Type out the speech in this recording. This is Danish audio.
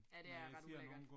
Ja, det er ret ulækkert